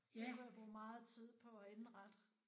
Det kunne jeg bruge meget tid på at indrette